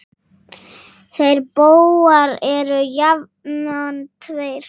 Þeir bógar eru jafnan tveir.